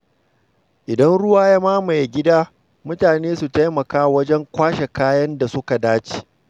Idan ruwa ya mamaye gida, mutane su taimaka wajen kwashe kayan da suka dace.